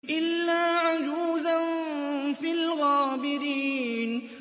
إِلَّا عَجُوزًا فِي الْغَابِرِينَ